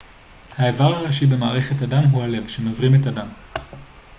האיבר הראשי במערכת הדם הוא הלב שמזרים את הדם